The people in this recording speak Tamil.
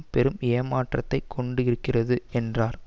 பெரும் ஏமாற்றத்தைக் கொண்டிருக்கிறது என்றார்